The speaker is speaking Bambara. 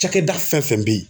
Cakɛda fɛn fɛn bɛ ye